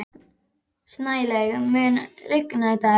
Snælaug, mun rigna í dag?